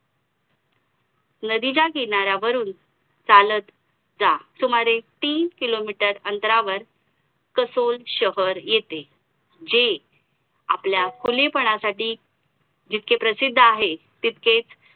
xz covedel असेल किंवा psychological off money असेल itemonical base असेल अशी बरीच पुस्तके वाचली त्याच्यानंतर मग माझा कल थोडा इतिहासाकडे गेला सुरुवाती सुरुवातीला पानिपत वगैरे ते सगळं बघितलेलं त्याच्यानंतर मग